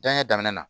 Janɲɛ daminɛna